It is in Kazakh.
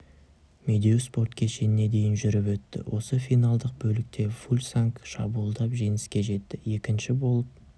медеу спорт кешеніне дейін жүріп өтті осы финалдық бөлікте фульсанг шабуылдап жеңіске жетті екінші болып